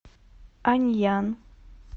аньян